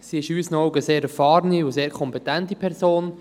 Sie ist in unseren Augen eine sehr erfahrene und sehr kompetente Person.